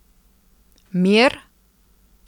Mir?